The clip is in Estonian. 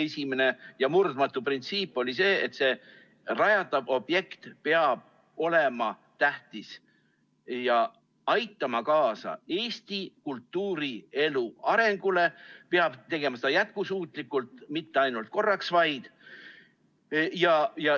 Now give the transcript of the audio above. Esimene ja murdmatu printsiip oli see, et rajatav objekt peab olema tähtis ja aitama kaasa Eesti kultuurielu arengule, peab tegema seda jätkusuutlikult, mitte ainult korraks vaid.